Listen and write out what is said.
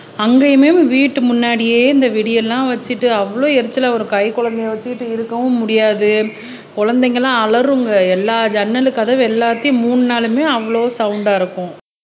அங்கேயுமே வீட்டு முன்னாடியே இந்த வெடியெல்லாம் வச்சிட்டு அவ்வளவு எரிச்சலா வரும் கைக்குழந்தையை வச்சுக்கிட்டு இருக்கவும் முடியாது குழந்தைங்க எல்லாம் அலறுங்க எல்லா ஜன்னல் கதவு எல்லாத்தையும் மூடுனாலுமே அவ்வளோ சவுண்டா இருக்கும்